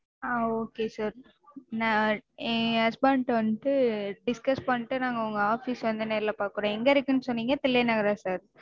ஆஹ் okay sir. நா என் husband ட வண்ட்டு discuss பண்ணிட்டு நாங்க உங்க office க்கு வந்து நேர்ல பாக்கறோம். எங்க இருக்குனு சொன்னீங்க? தில்லை நகரா sir?